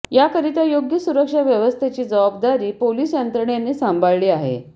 याकरिता योग्य सुरक्षा व्यवस्थेची जबाबदारी पोलीस यंत्रणेने सांभाळली आहे